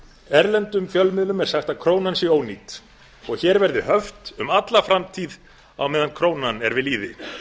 erlendum fjölmiðlum er sagt að krónan sé ónýt og hér verði höft um alla framtíð á meðan krónan er við lýði